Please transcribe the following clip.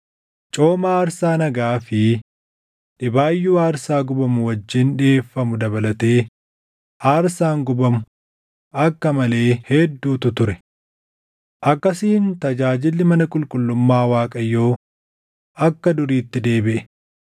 Cooma aarsaa nagaa fi dhibaayyuu aarsaa gubamu wajjin dhiʼeeffamu dabalatee aarsaan gubamu akka malee hedduutu ture. Akkasiin tajaajilli mana qulqullummaa Waaqayyoo akka duriitti deebiʼe.